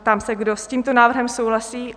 Ptám se, kdo s tímto návrhem souhlasí?